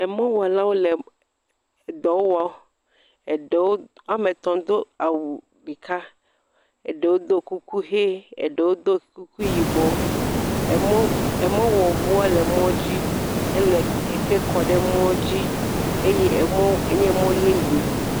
Emɔwɔlawo le em dɔ wɔ, eɖewo woametɔ̃do awu ɖeka, eɖewo do kuku me eɖewo do kuku yibɔ, emɔʋu emɔwɔʋuɔ le emɔdzi, ele eke kɔ ɖe emɔdzi eye emɔ enye emɔ yeye.